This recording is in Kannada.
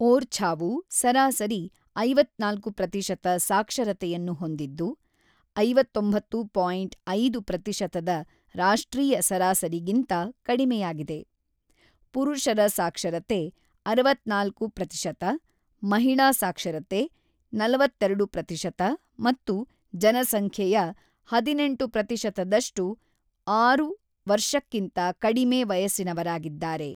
ಓರ್ಛಾವು ಸರಾಸರಿ ಐವತ್ತ್ನಾಲ್ಕು ಪ್ರತಿಶತ ಸಾಕ್ಷರತೆಯನ್ನು ಹೊಂದಿದ್ದು ಐವತ್ತೊಂಬತ್ತು ಪಾಯಿಂಟ್ ಐದು ಪ್ರತಿಶತ ರಾಷ್ಟ್ರೀಯ ಸರಾಸರಿಗಿಂತ ಕಡಿಮೆಯಾಗಿದೆ: ಪುರುಷರ ಸಾಕ್ಷರತೆ ಅರವತ್ತ್ನಾಲ್ಕು ಪ್ರತಿಶತ, ಮಹಿಳಾ ಸಾಕ್ಷರತೆ ನಲವತ್ತೆರಡು ಪ್ರತಿಶತ ಮತ್ತು ಜನಸಂಖ್ಯೆಯ ಹದಿನೆಂಟು ಪ್ರತಿಶತದಷ್ಟು ಆರು ವರ್ಷಕ್ಕಿಂತ ಕಡಿಮೆ ವಯಸ್ಸಿನವರಾಗಿದ್ದಾರೆ.